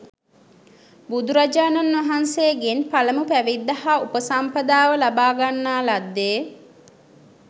බුදුරජාණන් වහන්සේගෙන් පළමු පැවිද්ද හා උපසම්පදාව ලබාගන්නා ලද්දේ